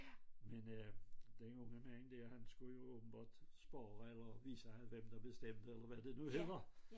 Men øh den unge mand dér han skulle jo åbenbart spøge eller vise hvem der bestemte eller havd det nu hedder